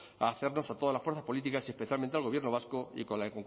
a hacernos a todas las fuerzas políticas y especialmente al gobierno vasco y con la